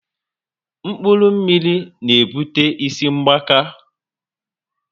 Mkpụrụ mmiri na ebute isi mgbaka